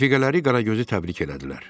Rəfiqələri Qaragözü təbrik elədilər.